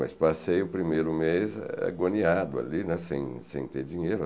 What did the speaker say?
Mas passei o primeiro mês agoniado ali, né, sem sem ter dinheiro.